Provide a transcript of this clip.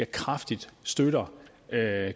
kraftigt støtter